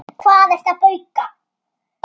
Hvað ertu að bauka?